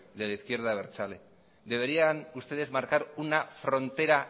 de la izquierda abertzale deberían ustedes marcar una frontera